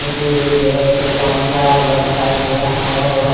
मुझे एक जगह पे पानी भरा हुआ दिखाई दे रहा है और वहां--